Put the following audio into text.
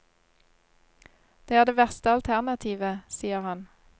Det er det verste alternativet, sier han.